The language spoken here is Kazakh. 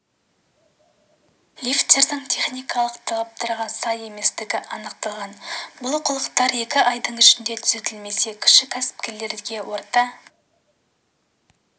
лифттердің техникалық талаптарға сай еместігі анықталған бұл олқылықтар екі айдың ішінде түзетілмесе кіші кәсіпкерліктерге орта